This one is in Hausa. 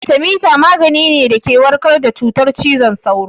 Atemita magani ne da ke warkar da cutar ciwon sauro